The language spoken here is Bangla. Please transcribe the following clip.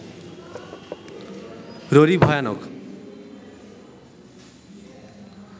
ররী ভয়ানক